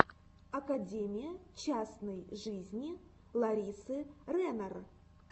академия частной жизни ларисы ренар